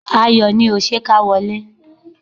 Ayọ̀ ni o! Ṣé ká wọlé?